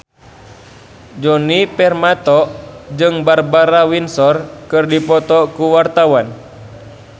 Djoni Permato jeung Barbara Windsor keur dipoto ku wartawan